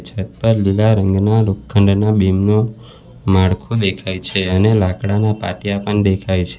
છત પર લીલા રંગના લોખંડના બીમ નુ માળખું દેખાય છે અને લાકડાના પાટીયા પણ દેખાય છે.